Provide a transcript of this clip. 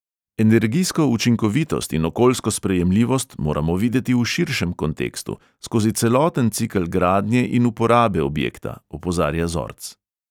Energijsko učinkovitost in okoljsko sprejemljivost moramo videti v širšem kontekstu, skozi celoten cikel gradnje in uporabe objekta, opozarja zorc.